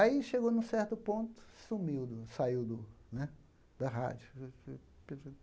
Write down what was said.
Aí, chegou num certo ponto, sumiu do, saiu do né da rádio.